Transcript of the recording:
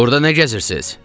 Burda nə gəzirsiz?